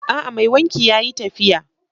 A'a! Mai wanki yayi tafiya.